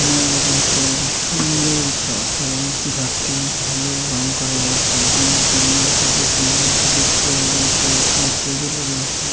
এখানে দেখা যাচ্ছে সুন্দর ঘর এবং ঘরটি ভালো রং করা রয়েছে এবং এখানে সবুজ রঙের কিছু চেয়ার রয়েছে এবং টেবিল -ও রয়েছে ।